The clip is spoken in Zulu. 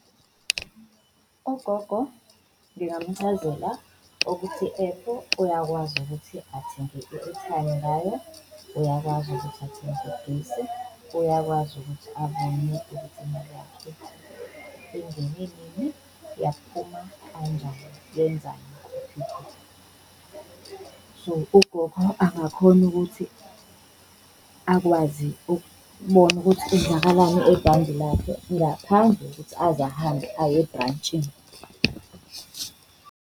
Ugogo ngingamchazela ukuthi i-app uyakwazi ukuthi athenge i-airtime ngayo, uyakwazi ukuthi athenge ugesi, uyakwazi ukuthi abone ukuthi imali yakhe ingene nini, yaphuma kanjani, yenzani, kuphi kuphi. So, ugogo angakhona ukuthi akwazi ukubona ukuthi kwenzakalani ebhange lakhe ngaphandle kokuthi aze ahambe aye ebrantshini.